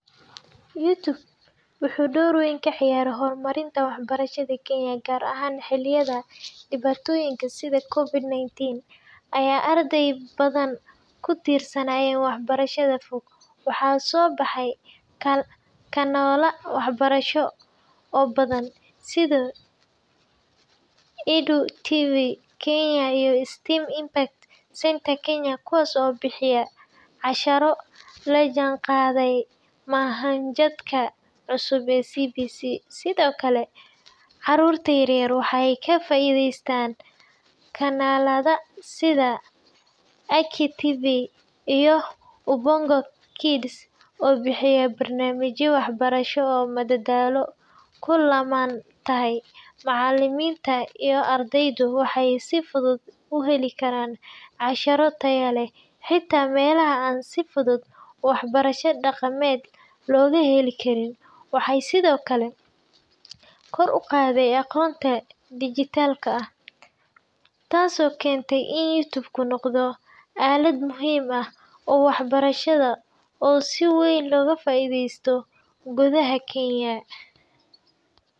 YouTube wuxuu door weyn ka ciyaaray horumarinta waxbarashada Kenya, gaar ahaan xilliyada dhibaatooyinka sida COVID-19 oo ay arday badan ku tiirsanaayeen waxbarashada fog. Waxaa soo baxay kanaalo waxbarasho oo badan sida Edu TV Kenya iyo STEM Impact Center Kenya kuwaas oo bixiya casharro la jaanqaadaya manhajka cusub ee CBC. Sidoo kale, carruurta yaryar waxay ka faa’iidaysteen kanaalada sida Akili TV iyo Ubongo Kids oo bixiya barnaamijyo waxbarasho oo madadaalo ku lammaan tahay. Macallimiinta iyo ardaydu waxay si fudud u heli karaan casharro tayo leh, xitaa meelaha aan si fudud waxbarasho dhaqameed looga heli karin. Waxay sidoo kale kor u qaaday aqoonta dijitaalka ah, taasoo keentay in YouTube noqdo aalad muhiim ah oo waxbarasho oo si weyn looga faa’iidaystay gudaha Kenya.